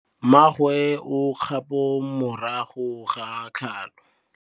Mmagwe o kgapô morago ga tlhalô.